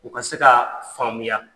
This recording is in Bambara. U ka se ka faamuya.